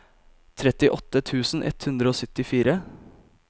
trettiåtte tusen ett hundre og syttifire